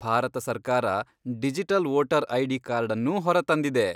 ಭಾರತ ಸರ್ಕಾರ, digital voter ID. ಕಾರ್ಡನ್ನೂ ಹೊರತಂದಿದೆ.